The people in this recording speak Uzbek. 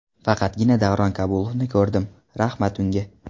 Faqatgina Davron Kabulovni ko‘rdim, rahmat unga.